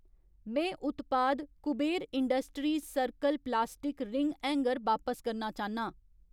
में उत्पाद Kuber industries circle plastic ring hanger बापस करना चाह्न्नां